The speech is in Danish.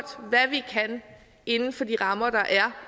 hvad vi kan inden for de rammer der er